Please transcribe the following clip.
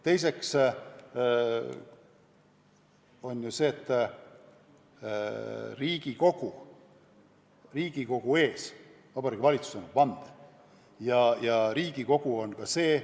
Teiseks, Vabariigi Valitsus annab Riigikogu ees vande.